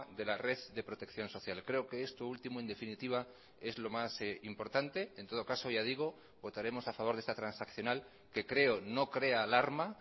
de la red de protección social creo que esto último en definitiva es lo más importante en todo caso ya digo votaremos a favor de esta transaccional que creo no crea alarma